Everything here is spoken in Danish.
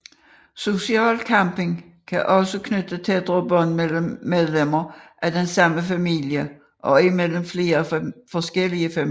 Social camping kan også knytte tættere bånd mellem medlemmer af den samme familie og imellem flere forskellige familier